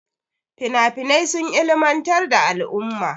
Finafinai sun ilimantar da al'umma.